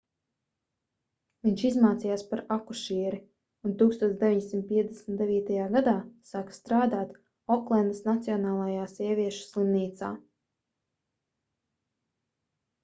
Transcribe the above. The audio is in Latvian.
viņš izmācījās par akušieri un 1959. gadā sāka strādāt oklendas nacionālajā sieviešu slimnīcā